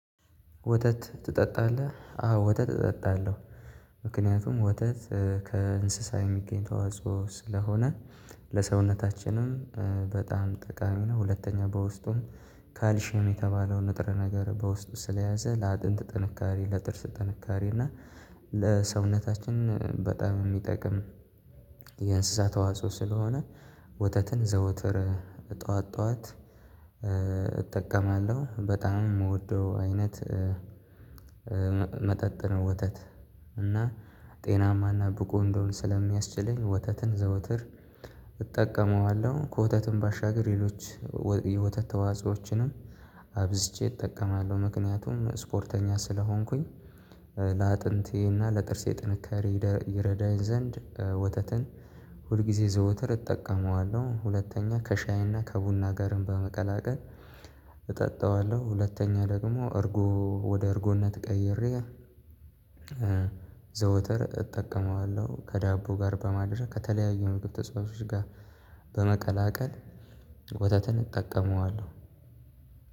ወተት ትጠጣለህ? አዎ ወተት እጠጣለሁ ምክንያቱም ወተት ከእንስሳ የሚገኝ ተዋጽኦ ስለሆነ ለሰውነታችንም በጣም ጠቃሚ ነው። ሁለተኛ በውስጡም ካልሽየም የተባለው ንጥር ነገር በውስጥ ስለያዘ ለአጥንት ጥንካሬ ለጥርስ ጥንካሬ እና ለሰውነታችን በጣም የሚጠቅም። የእንስሳት ተዋጽኦ ስለሆነ ወተትን ዘወትር ጠዋት ጠዋት እጠቀማለሁ በጣም የምወደው አይነት መጠጥ ነው። ወተት እና ጤናማና ብቁ እንደሆን ስለሚያስችልኝ ወተትን ዘውትር እጠቀመዋለሁ። ከወተትም ባሻገር ሌሎች የወተት ተዋጾዎችንም አብዝቼ እጠቀማለሁ። ምክንያቱም ስፖርተኛ ስለሆንኩኝ ለአጥንቴ እና ለጥርሴ ጥንካሬ ይረዳኝ ዘንድ ወተትን ሁልጊዜ ዘውተር እጠቀመዋለሁ። ሁለተኛ ከሻይና ከቡና ጋርም በመቀላቀል እጠጣዋለሁ። ሁለተኛ ደግሞ እርጎ ወደ እርጎነት ቀይሬ ዘውትር እጠቀመዋለሁ። ከዳቦ ጋር በማድረግ ከተለያዩ ምግብ ተጽዋቾች ጋር በመቀላቀል ወተትን እጠቀመዋለሁ።